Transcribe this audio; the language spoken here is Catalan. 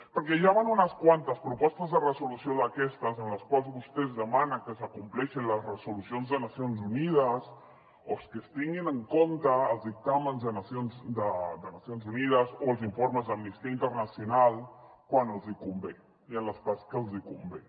perquè ja van unes quantes propostes de resolució d’aquestes en les quals vostès demanen que s’acompleixin les resolucions de nacions unides o que es tinguin en compte els dictàmens de nacions unides o els informes d’amnistia internacional quan els hi convé i en les parts que els hi convé